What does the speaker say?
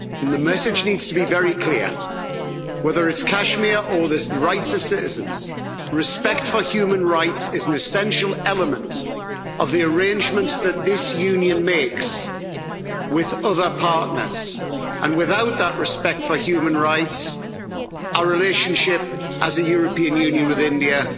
The message needs to be very clear whether it's Kashmir or the rights of citizens, respect for human rights is an essential element of the arrangements that this Union makes with other partners, and without that respect for human rights, our relationship as the European Union with India